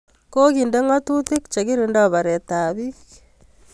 Kokende ng'atutik che kirindoi paret ap piik